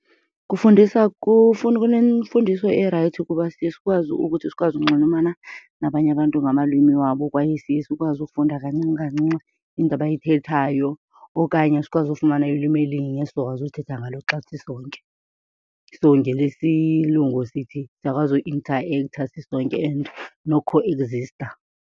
Kufundisa , kunemfundiso erayithi kuba siye sikwazi ukuthi sikwazi unxulumana nabanye abantu ngamalwimi wabo kwaye siye sikwazi ufunda kancinci kancinci into abayithethayo okanye sikwazi ufumana ulwimi elinye esizokwazi uthetha ngalo xa sisonke. So ngelesilungu sithi siyakwazi uintaektha sisonke and nokhoegzista.